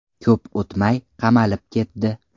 Ko‘p o‘tmay qamalib ketdi.